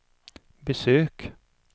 besök